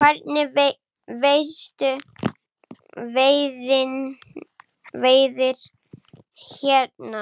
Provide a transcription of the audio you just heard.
Hvernig eru verstu veðrin hérna?